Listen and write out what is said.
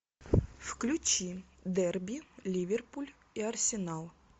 включи дерби ливерпуль и арсенал